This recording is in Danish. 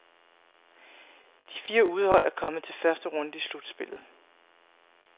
De fire udehold er kommet til første runde i slutspillet.